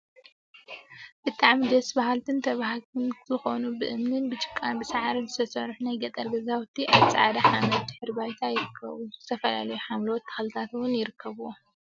7. ብጣዕሚ ደስ በሃልቲን ተበሃግቲን ዝኮኑ ብእምኒ፣ ብጭቃን ሳዕሪን ዝተሰርሑ ናይ ገጠር ገዛውቲ አብ ፃዕዳ ሓመድ ድሕረ ባይታ ይርከቡ። ዝተፈላለዩ ሓምለዎት ተክሊታት እውን ይርከቡዎም፡፡